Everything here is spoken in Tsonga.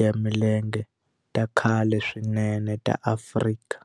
ya milenge ta khale swinene ta Afrika.